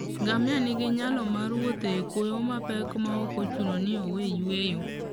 Ngamia nigi nyalo mar wuotho e kwoyo mapek maok ochuno ni owe yueyo.